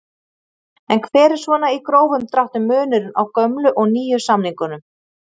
En hver er svona í grófum dráttum munurinn á gömlu og nýju samningunum?